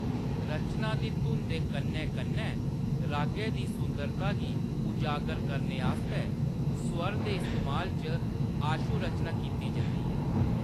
रचना दी धुन दे कन्नै कन्नै रागै दी सुंदरता गी उजागर करने आस्तै स्वर दे इस्तेमाल च आशुरचना कीती जंदी ऐ।